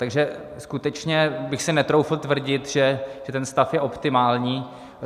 Takže skutečně bych si netroufl tvrdit, že ten stav je optimální.